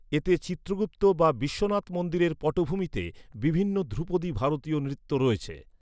এতে চিত্রগুপ্ত বা বিশ্বনাথ মন্দিরের পটভূমিতে বিভিন্ন ধ্রুপদী ভারতীয় নৃত্য রয়েছে।